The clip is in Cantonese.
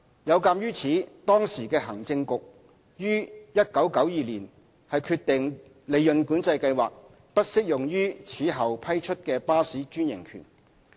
有鑒於此，當時的行政局於1992年決定利潤管制計劃不適用於此後批出的巴士專營權。